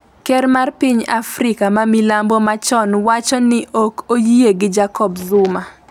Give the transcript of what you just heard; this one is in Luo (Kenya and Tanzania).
ker mar piny Afrika ma milambo machon wacho ni ok oyie gi Jacob Zuma